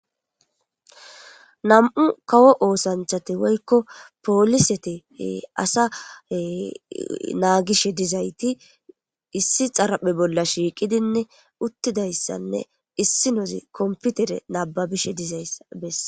nam7u kawo oosanthati woykko poolisete asa naagishe dizayti issi xaraphe bolla shiiqidinne uttidayssanne issi nozi komputere nababishe dizayssa bes